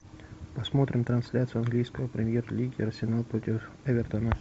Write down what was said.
посмотрим трансляцию английской премьер лиги арсенал против эвертона